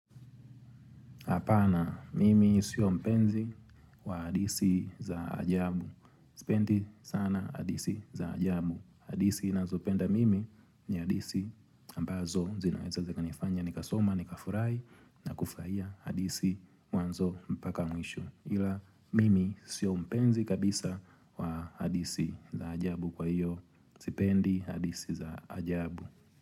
Apana, mimi siyo mpenzi wa hadisi za ajabu. Sipendi sana hadisi za ajabu. Hadisi nazopenda mimi ni hadisi ambazo zinaweza zikanifanya. Nikasoma, nikafurai na kufurahia hadisi mwanzo mpaka mwisho. Hila, mimi siyo mpenzi kabisa wa hadisi za ajabu kwa hiyo sipendi hadisi za ajabu.